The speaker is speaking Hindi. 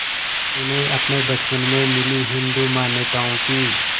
उन्हें अपने बचपन में मिली हिंदू मान्यताओं की